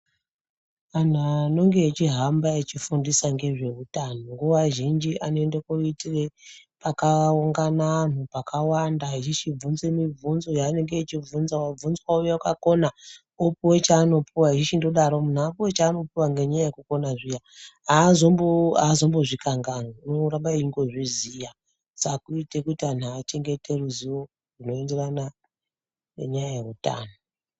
Anhu anonge echihamba echifundisa ngezveutano nguwa zhinji anoende koitire pakaungana anhu pakawanda echichibvunze mibvunzo yaanenge echibvunza. Wabvunza wouya pakona opuwe chaanopuwa, eyichindodaro. Munhu apuwe chaanopuwa ngenyaya yekukona zviya, haazombozvikanganwi. Unoramba eyingozviziya, saka kuite kuti anhu achengete ruziwo rwunoenderana nenyaya yeutano.